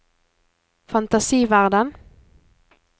fantasiverden